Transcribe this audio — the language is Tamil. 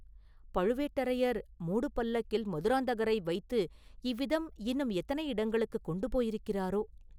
பழுவேட்டரையர் மூடுபல்லக்கில் மதுராந்தகரை வைத்து இவ்விதம் இன்னும் எத்தனை இடங்களுக்குக் கொண்டு போயிருக்கிறாரோ?